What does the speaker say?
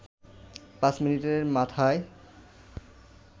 ৫ মিনিটের মাথায়